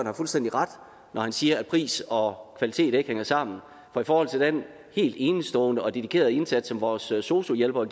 har fuldstændig ret når han siger at pris og kvalitet ikke hænger sammen for i forhold til den helt enestående og dedikerede indsats som vores sosu hjælpere